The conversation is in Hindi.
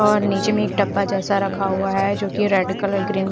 और निचे में एक डब्बा जेसा रखा हुआ है जो की रेड कलर ग्रीन --